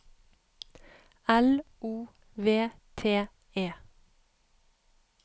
L O V T E